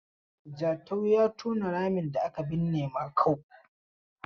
Jatau ya tona ramin da aka binne Makau.